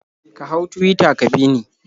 Ka hau Tuwita ka bi ni.